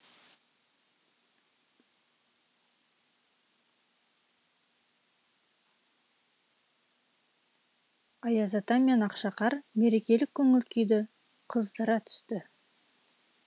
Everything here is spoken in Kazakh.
аяз ата мен ақшақар мерекелік көңіл күйді қыздыра түсті